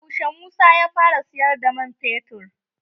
Yaushe Musa ya fara siyar da man fetur?